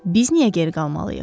Biz niyə geri qalmalıyıq?